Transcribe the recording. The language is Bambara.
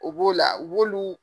O b'o la u b'olu.